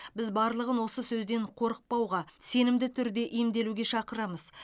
біз барлығын осы сөзден қорықпауға сенімді түрде емделуге шақырамыз